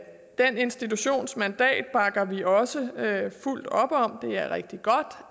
den institutions mandat bakker vi også fuldt op om det er rigtig godt